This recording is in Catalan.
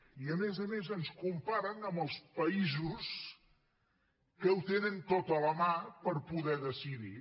i a més a més ens comparen amb els països que ho tenen tot a la mà per poder decidir